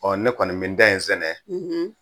Ɔ ne kɔni bɛ n ta in sɛnɛ